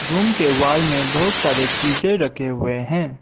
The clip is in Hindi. रूम के वॉल में बहुत सारे चीजें रखे हुए हैं।